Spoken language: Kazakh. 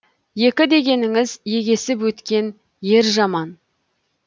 екі дегеніңіз егесіп өткен ер жаман